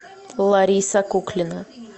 лариса куклина